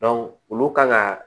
olu kan ka